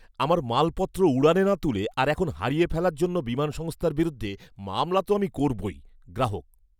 আমার মালপত্র উড়ানে না তুলে আর এখন হারিয়ে ফেলার জন্য বিমান সংস্থার বিরুদ্ধে মামলা তো আমি করবই। গ্রাহক